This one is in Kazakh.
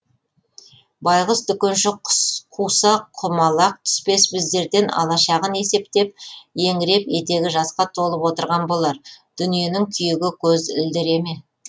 байғұс дүкенші қуса құмалақ түспес біздерден алашағын есептеп еңіреп етегі жасқа толып отырған болар дүниенің күйігі көз ілдіре ме